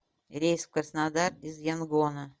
рейс в краснодар из янгона